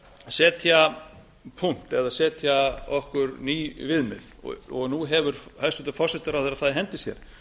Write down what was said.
setja punkt eða setja okkur ný viðmið nú hefur hæstvirtur forsætisráðherra það í hendi sér